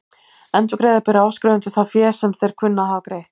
Endurgreiða ber áskrifendum það fé sem þeir kunna að hafa greitt.